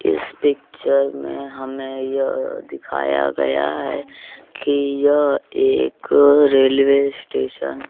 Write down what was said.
इस पिक्चर में हमें यह दिखाया गया है कि यह एक रेलवे स्टेशन --